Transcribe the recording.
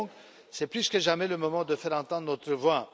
Alors, c'est plus que jamais le moment de faire entendre notre voix.